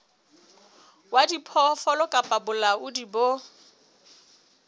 wa diphoofolo kapa bolaodi bo